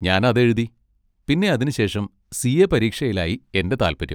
ഞാൻ അതെഴുതി. പിന്നെ അതിനുശേഷം സി.എ. പരീക്ഷയിലായി എൻ്റെ താല്പര്യം.